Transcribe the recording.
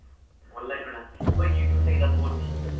online ও না ওই youtube থেকে যত পড়ছি